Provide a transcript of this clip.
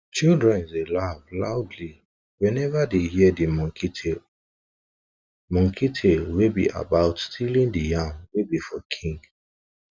children dey laugh loudly whenever dey hear de monkey tale monkey tale wey be about stealing de yam wey be for king